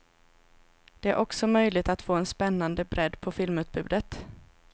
Det är också möjligt att få en spännande bredd på filmutbudet.